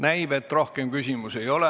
Näib, et rohkem küsimusi ei ole.